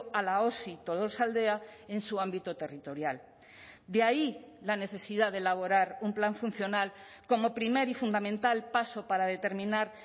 a la osi tolosaldea en su ámbito territorial de ahí la necesidad de elaborar un plan funcional como primer y fundamental paso para determinar